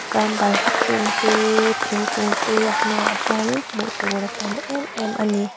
tam balhla kung teeee thingkung teee a hnungah hianin hmuh tur a tam em em ani.